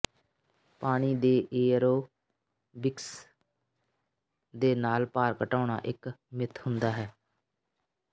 ਪਾਣੀ ਦੇ ਏਅਰੋਬਿਕਸ ਦੇ ਨਾਲ ਭਾਰ ਘਟਾਉਣਾ ਇਕ ਮਿੱਥ ਹੁੰਦਾ ਹੈ